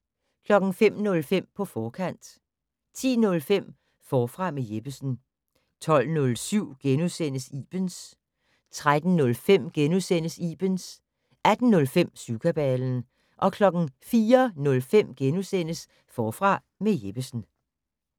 05:05: På forkant 10:05: Forfra med Jeppesen 12:07: Ibens * 13:05: Ibens * 18:05: Syvkabalen 04:05: Forfra med Jeppesen *